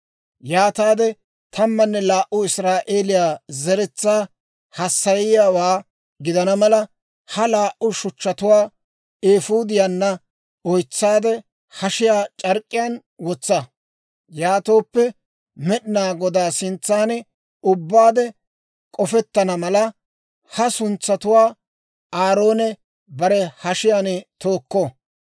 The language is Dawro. Yaataade tammanne laa"u Israa'eeliyaa zeretsaa hassayiyaawaa gidana mala, ha laa"u shuchchatuwaa eefuudiyaanna oytseedda hashiyaa c'ark'k'iyaan wotsa; yaatooppe Med'inaa Godaa sintsan ubbaade k'ofettana mala, ha suntsatuwaa Aaroone bare hashiyaan tookko.